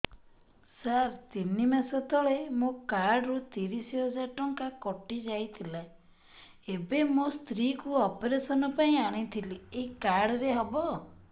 ସାର ତିନି ମାସ ତଳେ ମୋ କାର୍ଡ ରୁ ତିରିଶ ହଜାର ଟଙ୍କା କଟିଯାଇଥିଲା ଏବେ ମୋ ସ୍ତ୍ରୀ କୁ ଅପେରସନ ପାଇଁ ଆଣିଥିଲି ଏଇ କାର୍ଡ ରେ ହବ